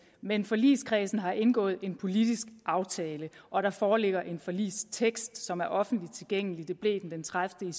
men forligskredsen har indgået en politisk aftale og der foreligger en forligstekst som er offentligt tilgængelig og det blev den den tredivete